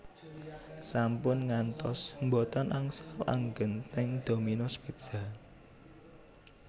Sampun ngantos mboten angsal anggen teng Dominos Pizza